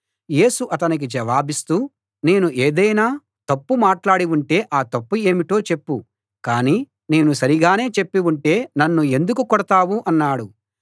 యేసు అతనికి జవాబిస్తూ నేను ఏదైనా తప్పు మాట్లాడి ఉంటే ఆ తప్పు ఏమిటో చెప్పు కాని నేను సరిగానే చెప్పి ఉంటే నన్ను ఎందుకు కొడతావు అన్నాడు